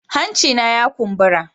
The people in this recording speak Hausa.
Hancina ya kumbura.